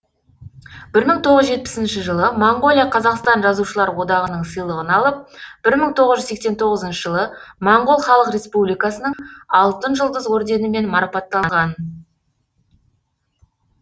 бір мың тоғыз жүз жетпісінші жылы моңғолия қазақстан жазушылар одағының сыйлығын алып бір мың тоғыз жүз сексен тоғызыншы жылы моңғол халық республикасының алтын жұлдыз орденімен марапатталған